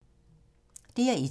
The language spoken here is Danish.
DR1